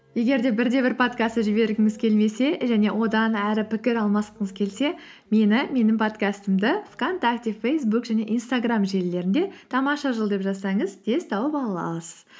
егер де бірде бір подкастты жібергіңіз келмесе және одан әрі пікір алмасқыңыз келсе мені менің подкастымды вконтакте фейсбук және инстаграм желілерінде тамаша жыл деп жазсаңыз тез тауып ала аласыз